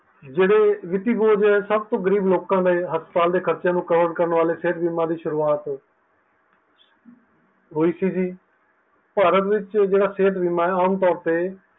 ਜਿਹੜੇ ਵਿੱਤੀ ਹੋਏ ਸਬ ਤੋਂ ਗਰੀਬ ਲੋਕਾਂ ਲਈ ਹਸਪਤਾਲਾਂ ਦੇ ਖਰਚਿਆਂ ਨੂੰ cover ਕਰਨ ਵਾਲੇ ਸਿਹਤ ਬਿਮੀਆ ਦੀ ਸ਼ੁਰੂਆਤ ਹੋਈ ਸੀ ਜੀ ਭਾਰਤ ਵਿੱਚ ਜਿਹੜਾ ਸਿਹਤ ਬੀਮਾ ਐ ਆਮ ਤੌਰ